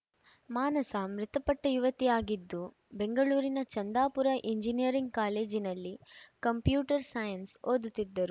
ಮಾನಸ ಮೃತಪಟ್ಟಯುವತಿಯಾಗಿದ್ದು ಬೆಂಗಳೂರಿನ ಚಂದಾಪುರದ ಎಂಜಿನಿಯರಿಂಗ್‌ ಕಾಲೇಜಿನಲ್ಲಿ ಕಂಪ್ಯೂಟರ್‌ ಸೈನ್ಸ್‌ ಓದುತ್ತಿದ್ದರು